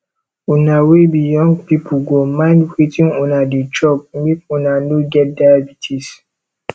una wey be young pipu go mind wetin una dey chop make una no get diabetes